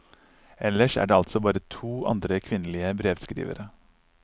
Ellers er det altså bare to andre kvinnelige brevskrivere.